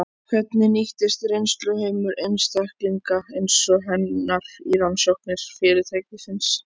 Hvernig nýtist reynsluheimur einstaklinga eins og hennar í rannsóknir fyrirtækisins?